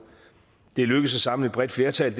det er lykkedes at samle et bredt flertal